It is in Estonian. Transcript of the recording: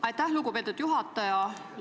Aitäh, lugupeetud juhataja!